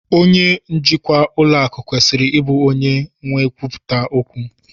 Onye njikwa ụlọ akụ kwesịrị ịbụ onye n'ekwuputa okwu